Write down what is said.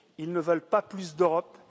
Ils ne veulent pas plus d'Europe.